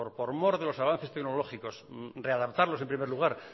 por mor de los avances tecnológicos readaptarlos en primer lugar